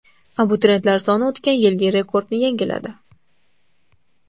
Abituriyentlar soni o‘tgan yilgi rekordni yangiladi.